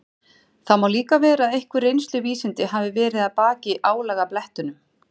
Það má líka vera að einhver reynsluvísindi hafi verið að baki álagablettunum.